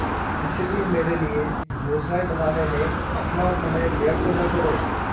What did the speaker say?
इसलिए मेरे लिए योजनाएँ बनाने में अपना समय व्यर्थ न करो